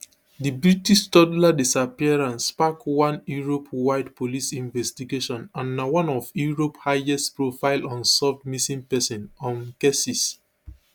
di british toddler disappearance spark one europewide police investigation and na one of europe highestprofile unsolved missing person um cases